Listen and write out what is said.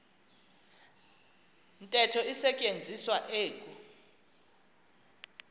ntetho isetyenziswa eku